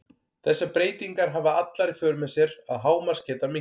þessar breytingar hafa allar í för með sér að hámarksgeta minnkar